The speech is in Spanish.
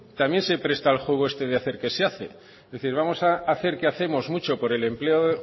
también se presta al juego este de hacer que se hace es decir vamos a hacer que hacemos mucho por el empleo